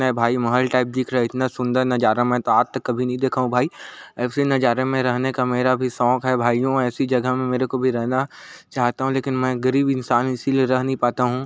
भाई महल टाइप दिख रहा है इतना सुंदर नजारा मैं तो आज तक कभी नहीं देखा हूँ भाई ऐसी नजारे में रहने का मेरा भी शौक है भाईयो ऐसी जगह मे मेरे को भी रहना चाहता हूँ लेकिन मैं गरीब इंसान हूँ इसीलिए रह नही पाता हूँ।